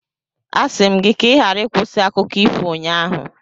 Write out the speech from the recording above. Asị m gị ka ị ghara ịkwụsị akụkọ ifo ụnyaahụ.